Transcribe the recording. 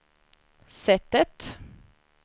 sättet